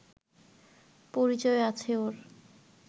পরিচয় আছে ওর